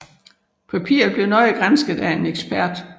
Papiret blev nøje gransket af en ekspert